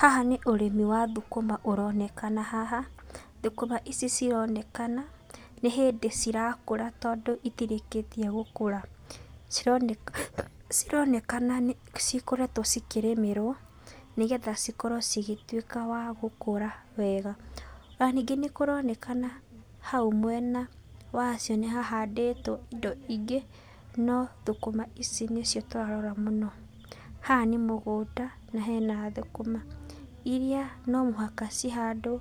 Haha nĩ ũrĩmi wa thũkũma ũronekana haha, thũkũma ici cironekana, nĩ hĩndĩ cirĩkũra tondũ citirĩkĩtie gũkũra. Cironeka cironekana nĩcikoretwo cikĩrĩmĩrwo, nĩgetha cikorwo cigĩtuĩka wa gũkura wega. Ona ningĩ nĩkũronekana hau mwena wacio nĩhahandĩtwo indo ingĩ, no thũkũma ici nĩcio tũrarora mũno. Haha nĩ mũgũnda na hena thũkũma iria no mũhaka cihandwo